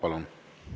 Palun!